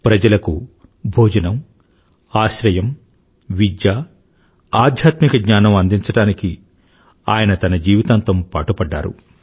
ప్రజలకు భోజనము ఆశ్రయము విద్య ఆథ్యాత్మిక జ్ఞానం అందించడానికి మాత్రమే ఆయన తన జీవితాంతం పాటుపడ్డారు